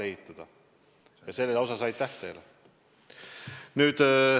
Aitäh selle eest!